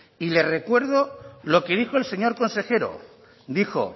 y le recuerdo lo que dijo el señor consejero dijo